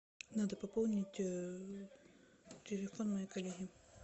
надо пополнить телефон моей коллеги